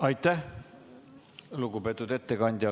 Aitäh, lugupeetud ettekandja!